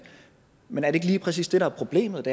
men er det ikke lige præcis det der er problemet